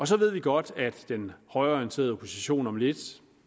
så ved vi godt at den højreorienterede opposition om lidt